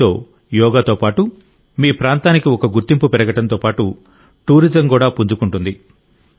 దీంతో యోగాతో పాటు మీ ప్రాంతానికి గుర్తింపు పెరగడంతో పాటు టూరిజం కూడా పుంజుకుంటుంది